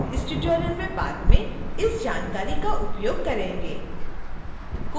हम इस tutorial में बाद में इस जानकारी का उपयोग करेंगे